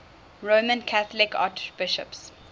roman catholic archbishops